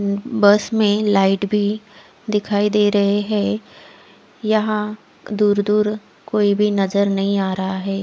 बस में लाइट भी दिखाई दे रहे है यहाँ दूर दूर कोई भी नज़र नही आ रहा है।